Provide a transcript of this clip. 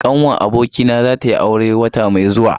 Ƙanwar abokina za tayi aure wata mai zuwa.